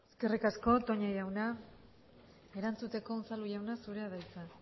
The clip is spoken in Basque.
eskerrik asko toña jauna erantzuteko unzalu jauna zurea da hitza